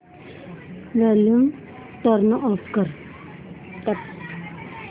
volume turn off कर